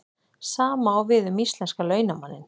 Sama á við um íslenska launamanninn.